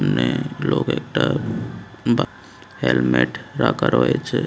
এখানে লোক একটা বা হেলমেট রাখা রয়েছে।